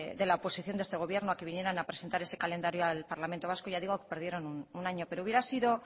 de la oposición de este gobierno a que vinieran a presentar ese calendario al parlamento vasco ya digo que perdieron un año pero hubiera sido